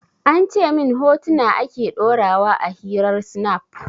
An ce min hotuna ake ɗora wa a hirar snap